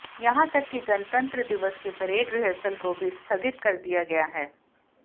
यहां तक कि गणतंत्र दिवस के परेड रिहर्सल को भी स्थगित कर दिया गया है